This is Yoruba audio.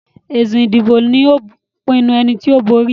èsì ìbò ló pinnu ẹní tó bóri